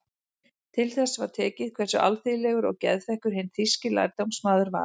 Til þess var tekið hversu alþýðlegur og geðþekkur hinn þýski lærdómsmaður var.